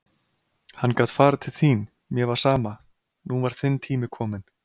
Hann gat farið til þín, mér var sama, nú var þinn tími kominn.